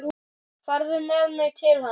Farðu með mig til hennar.